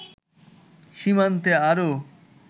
সীমান্তে আরও